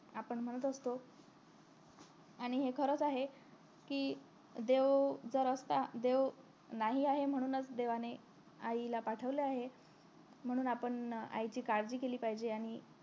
आपण म्हणत असतो आणि हे खरंच आहे कि देव जर असता देव नाही आहे म्हणूनच देवाने आईला पाठविले आहे म्हणून आपण आईची काळजळी केली पाहिजे